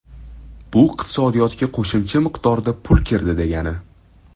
Bu iqtisodiyotga qo‘shimcha miqdorda pul kirdi degani.